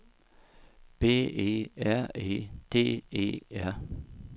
B E R E D E R